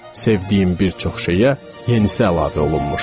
Sevdiyim bir çox şeyə yenisi əlavə olunmuşdu.